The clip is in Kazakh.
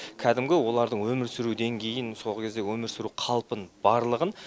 кәдімгі олардың өмір сүру деңгейін сол кездегі өмір сүру қалпын барлығын